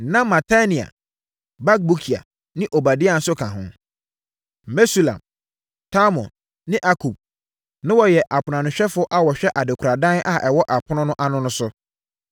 Na Matania, Bakbukia ne Obadia nso ka ho. Mesulam, Talmon ne Akub na wɔyɛ aponoanohwɛfoɔ a wɔhwɛ adekoradan a ɛwɔ apono no ano no so.